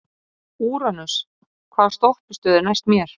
Úranus, hvaða stoppistöð er næst mér?